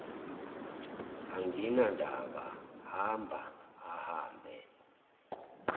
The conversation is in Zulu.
anginandaba hamba ahambe